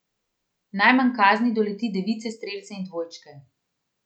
Najmanj kazni doleti device, strelce in dvojčke.